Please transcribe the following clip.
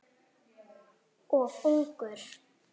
Of ungur.